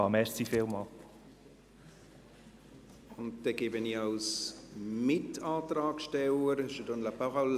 Nun gebe ich Tom Gerber als Mitantragsteller das Wort.